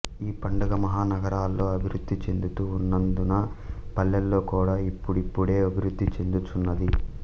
ఈ పండగ మహా నగరాల్లో అభివృద్ధి చెందుతూ వున్నందున పల్లెల్లో కూడా ఇప్పుడిప్పుడే అభివృద్ధి చెందు చున్నది